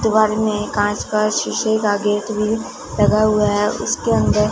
दीवार में कांच का शीशे का गेट भी लगा हुआ है उसके अंदर--